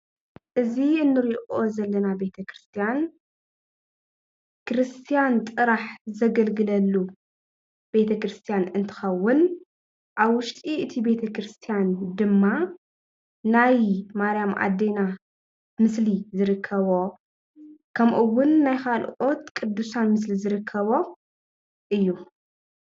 እዚ እንሪኦ ዘለና ቤተክርስትያን ክርስትያን ጥራሕ ዘገልግለሉ ቤተ ክርስትያን እትኸውን ኣብ ውሽጢ እቲ ቤተክርስትያን ድማ ናይ ማርያም ኣዴና ምስሊ ዝርከቦ ከምኡ እውን ናይ ካልኦት ቁዱሳን ምስሊ ዝርከቦ እዩ፡፡